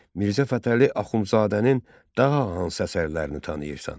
Mirzə Fətəli Axundzadənin daha hansı əsərlərini tanıyırsan?